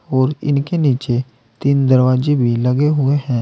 और इनके नीचे तीन दरवाजे भी लगे हुए हैं।